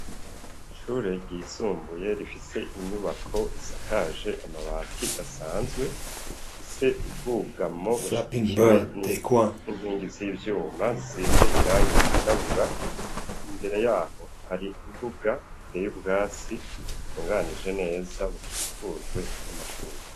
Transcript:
Ishure ryisumbuye, rifise inyubako, isakaje amabati asanzwe, rifise ubwugamo, bushigikiwe n'inkingi z'ivyuma, zisize irangi ryirabura; imbere yaho, hari imbuga iteye ubwatsi, butunganije neza, bukikujwe y'amashurwe.